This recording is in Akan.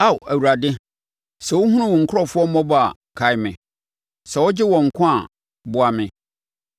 Ao Awurade, sɛ wohunu wo nkurɔfoɔ mmɔbɔ a kae me. Sɛ wogye wɔn nkwa a, boa me,